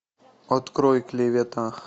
открой клевета